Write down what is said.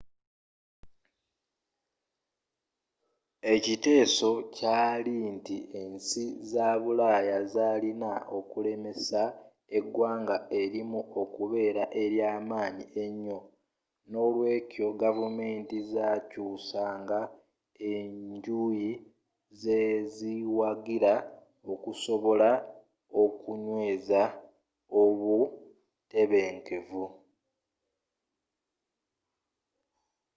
ekiteeso kyaali nti ensi za bulaaya zaalina okulemesa eggwanga erimu okubeera eryaamanyi ennyo n'olweekyo gavumenti zaakyuusanga enjuyi zeziwagira okusobola okunyweeza obutebenkevu